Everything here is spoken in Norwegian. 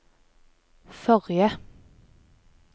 forrige